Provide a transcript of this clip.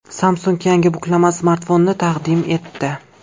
Samsung yangi buklama smartfonini taqdim etdi.